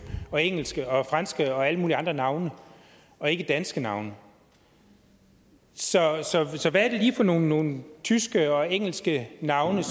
og engelske og franske og alle mulige andre navne og ikke danske navne så hvad er det lige for nogle nogle tyske og engelske navne